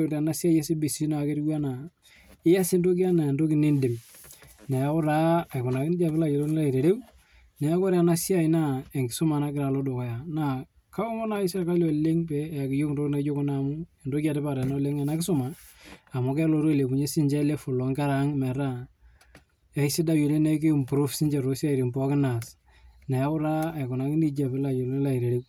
ore CBC netieu ena eyas entoki ena enidim neeku ore enasiai naa enkisuma naloito dukuya naa kaomon naaji sirkali oleng pee eyaki iyiok ntokitin naijio Kuna amu enetipat oleng ena kisuma amu kelotu ailepunyie sinche level oo nkera ang metaa aisidai oleng neek kimprove too siatin sininche naas